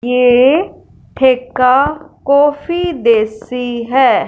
यह ठेका कॉफी देसी है।